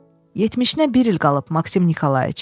Yetmişinə bir il qalıb Maksim Nikolayiç.